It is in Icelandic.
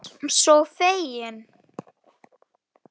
Ég var sko fegin!